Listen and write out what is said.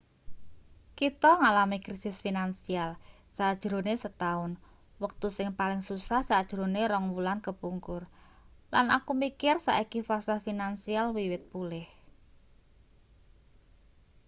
kita ngalami krisis finansial sajrone setaun wektu sing paling susah sajrone rong wulan kepungkur lan aku mikir saiki pasar finansial wiwit pulih